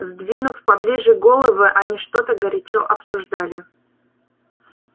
сдвинув поближе головы они что-то горячо обсуждали